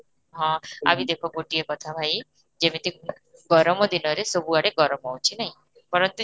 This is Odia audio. ହଁ ଆଉ ଗୋଟେ ଦେଖ ଗୋଟିଏ କଥା ଭାଇ, ଯେମିତି ଗର୍ମ ଦିନରେ ସବୁଆଡେ ଗର୍ମ ହୋଉଛି ନାଇଁ,